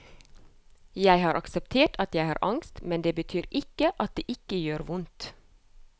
Jeg har akseptert at jeg har angst, men det betyr ikke at det ikke gjør vondt.